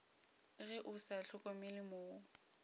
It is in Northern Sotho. ge o sa hlokomele mo